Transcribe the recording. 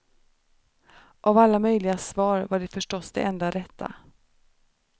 Av alla möjliga svar var det förstås det enda rätta.